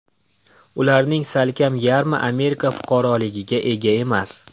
Ularning salkam yarmi Amerika fuqaroligiga ega emas.